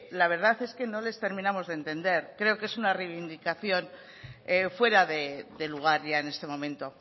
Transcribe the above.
la verdad es que no les terminamos de entender creo que es una reivindicación fuera de lugar ya en este momento